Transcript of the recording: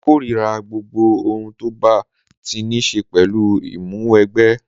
Mo korira gbogbo ohun tó bá ti ní ṣe pẹ̀lú Ìmúwẹgbẹ́